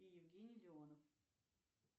евгений леонов